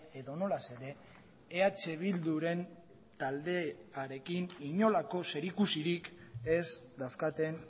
edonola ere eh bilduren taldearekin inolako zerikusirik ez dauzkaten